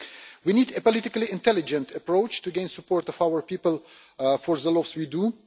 We need a politically intelligent approach to gain the support of our people for the laws we do.